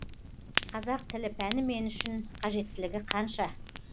қазақ тілі пәні мен үшін қажеттілігі қанша